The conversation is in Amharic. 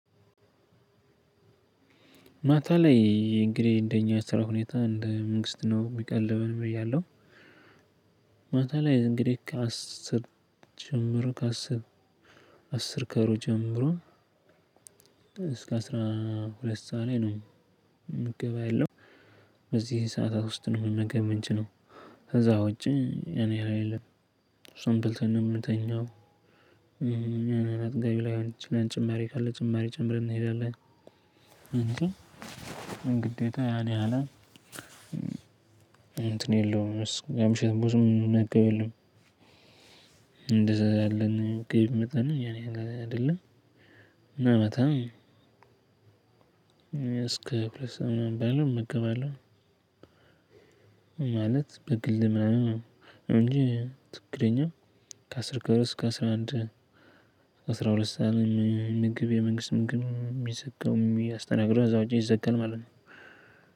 ማታ ላይ እንግዲህ እንደኛ ስራ ሁኔታ እንደ መንግስት ነው የሚቀልበን ብያለሁ። ማታ ላይ እንግዲህ ከአስር ጀምሮ ከአስር አስር ከሩብ ጀምሮ እስከ አስራ ሁለት ሰዓት ላይ ነው። ምገባ ያለው በዚህ ሰዓታት ውስጥ ነው መመገብ ምንችለው። ከዛ ውጪ እኔ ላይ የለም። እሷን በልተን ነው የምንተኛው። አጥጋቢ ላይሆን ይችላል ጭማሪ ካለ ጭማሪ ጨምረን እንሄዳለን። ግዴታ ያኔ ያህላል። እንትን የለውም የምሽት ብዙም ሚመገብ የለም። እንደዛ ያለን ገቢ መጠን ያን ያህል አይደለም። እና በጣም እስከ ሁለት ሰዓት ባለው እመገባለው። ማለት በግል ምናምን እንጂ ትክክለኛ ከአስር ከሩም ከአስራ አንድ ከአስራ ሁለት ሰዓት ምግብ የመንግስት ምግብ የሚዘጋው የሚያስተናገድ ከዚያ ውጪ ይዘጋል ማለት ነው።